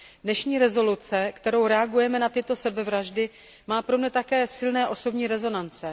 Dnešní usnesení, kterým reagujeme na tyto sebevraždy, má pro mě také silné osobní rezonance.